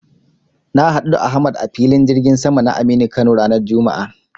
Na haɗu da Ahmad a Filin jirgin sama na Aminu Kano ranar juma'a.